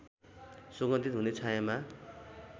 सुगन्धित हुने छायाँमा